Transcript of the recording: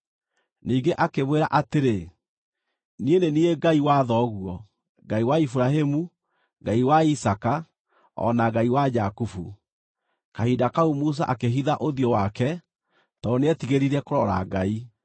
Ningĩ akĩmwĩra atĩrĩ, “Niĩ nĩ niĩ Ngai wa thoguo, Ngai wa Iburahĩmu, Ngai wa Isaaka, o na Ngai wa Jakubu.” Kahinda kau Musa akĩhitha ũthiũ wake, tondũ nĩetigĩrire kũrora Ngai.